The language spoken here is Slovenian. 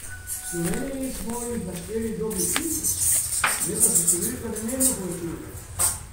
V Sloveniji smo jih našteli dobrih tisoč, vendar se številka nenehno povečuje.